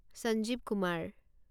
Sanjeev Kumar